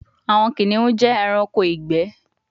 Awọn kiniun jẹ ẹranko igbẹ